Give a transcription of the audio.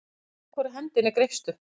Með hvorri hendinni greipstu?